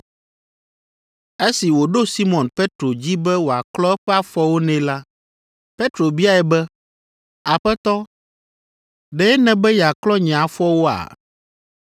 Esi wòɖo Simɔn Petro dzi be wòaklɔ eƒe afɔwo nɛ la, Petro biae be, “Aƒetɔ, ɖe nèbe yeaklɔ nye afɔwoa?”